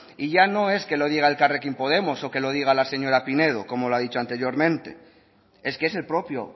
y ya no es que lo diga elkarrekin podemos o que lo diga la señora pinedo como lo ha dicho anteriormente es que es el propio